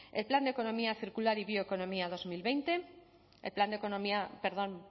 el plan de economía circular y bioecomomía dos mil veinte perdón